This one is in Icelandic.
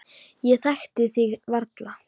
Ég þekkti þig varla.